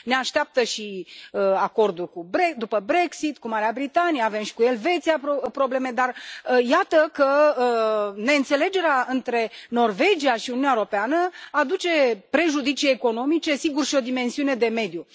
Ne așteaptă și acordul Brexit cu Marea Britanie, avem și cu Elveția probleme, dar iată că neînțelegerea dintre Norvegia și Uniunea Europeană aduce prejudicii economice, sigur, și o dimensiune de mediu.